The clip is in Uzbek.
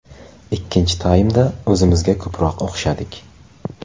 Ikkinchi taymda o‘zimizga ko‘proq o‘xshadik.